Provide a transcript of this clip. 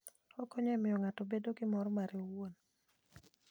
Okonyo e miyo ng'ato obed gi mor ma mare owuon.